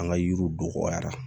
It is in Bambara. An ka yiriw don dɔgɔyara